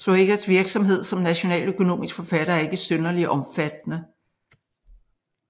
Zoëgas virksomhed som nationaløkonomisk forfatter er ikke synderlig omfattende